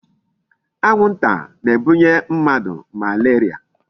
Anwụnta na-ebunye mmadụ malaria.